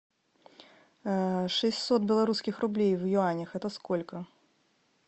шестьсот белорусских рублей в юанях это сколько